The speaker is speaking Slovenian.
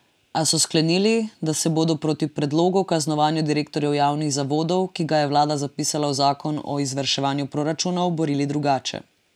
A so sklenili, da se bodo proti predlogu o kaznovanju direktorjev javnih zavodov, ki ga je vlada zapisala v zakon o izvrševanju proračunov, borili drugače.